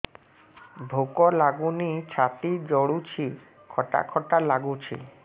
ଭୁକ ଲାଗୁନି ଛାତି ଜଳୁଛି ଖଟା ଖଟା ଲାଗୁଛି